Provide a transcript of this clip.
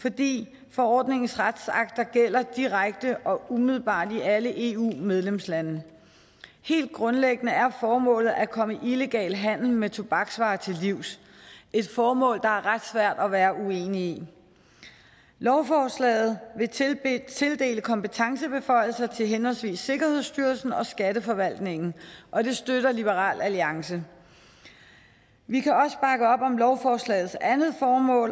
fordi forordningens retsakter gælder direkte og umiddelbart i alle eu medlemslande helt grundlæggende er formålet at komme illegal handel med tobaksvarer til livs et formål det er ret svært at være uenig i lovforslaget vil tildele tildele kompetencetilføjelser til henholdsvis sikkerhedsstyrelsen og skatteforvaltningen og det støtter liberal alliance vi kan også bakke op om lovforslagets andet formål